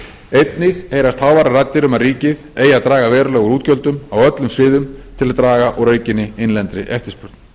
einnig heyrast háværar raddir um að ríkið eigi að draga verulega úr útgjöldum á öllum sviðum til að draga úr aukinni innlendri eftirspurn